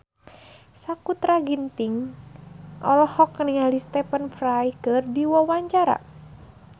Sakutra Ginting olohok ningali Stephen Fry keur diwawancara